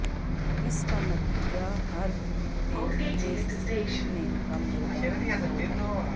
اس کا نتیجہ ہر پےچیک میں کم مقدار میں ہوگا